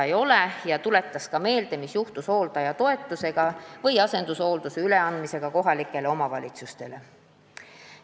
Monika Haukanõmm tuletas meelde, mis juhtus hooldajatoetusega või asendushoolduse üleandmisega kohalikele omavalitsustele.